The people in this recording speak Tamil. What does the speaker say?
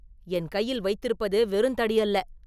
என் கையில் வைத்திருப்பது வெறுந்தடியல்ல.